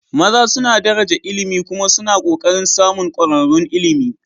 maza suna daraja ilimi kuma suna ƙoƙarin samun ƙwararrun ilimi